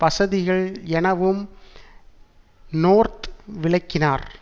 வசதிகள் எனவும் நோர்த் விளக்கினார்